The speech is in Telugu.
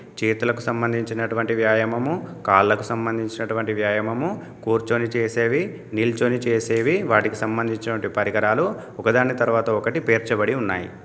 చేతులకు సంబంధించినటువంటి వ్యాయామము కాళ్లకు సంబంధించినటువంటి వ్యాయామము కూర్చొని చేసేవి నిల్చోని చేసేవి వాటికి సంబంధించినవంటి పరికరాలు ఒకదాని తర్వాత ఒకటి పేర్చబడి ఉన్నాయి.